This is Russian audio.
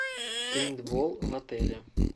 пейнтбол в отеле